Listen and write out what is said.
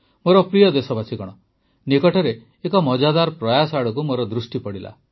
ମୋର ପ୍ରିୟ ଦେଶବାସୀଗଣ ନିକଟରେ ଏକ ମଜାଦାର ପ୍ରୟାସ ଆଡ଼କୁ ମୋର ଦୃଷ୍ଟି ପଡ଼ିଲା